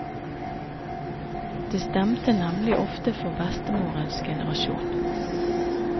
Det stemte nemlig ofte for bestemorens generasjon.